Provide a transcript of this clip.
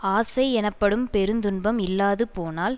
ஆசை எனப்படும் பெருந்துன்பம் இல்லாது போனால்